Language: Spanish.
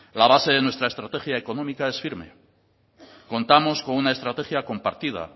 la base de nuestra estrategia económica es firme contamos con una estrategia compartida